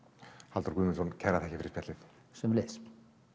Halldór Guðmundsson kærar þakkir fyrir spjallið sömuleiðis